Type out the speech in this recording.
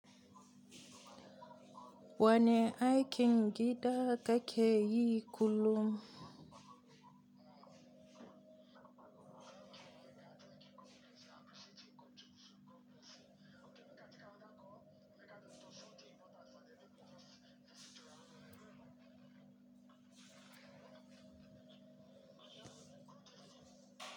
Wani aikin gida ka ke yi kullum?